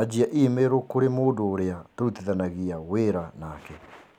anjia i-mīrū kũrĩ mũndũ ũrĩa tũrutithanagia wĩra nake